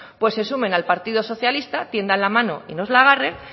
pues se sumen al partido socialista tiendan la mano y nos la agarre